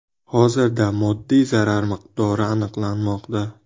Hozirda moddiy zarar miqdori aniqlanmoqda.